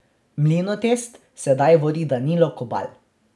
Mlinotest sedaj vodi Danilo Kobal.